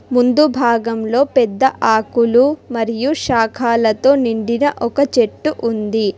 ముందు భాగంలో పెద్ద ఆకులు మరియు శాఖాలతో నిండిన ఒక చెట్టు ఉంది.